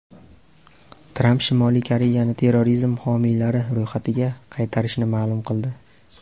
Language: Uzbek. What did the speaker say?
Tramp Shimoliy Koreyani terrorizm homiylari ro‘yxatiga qaytarishini ma’lum qildi.